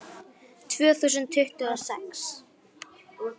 Tvö þúsund tuttugu og sex